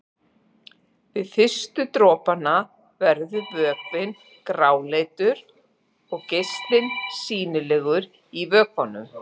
Við fyrstu dropana verður vökvinn gráleitur og geislinn sýnilegur í vökvanum.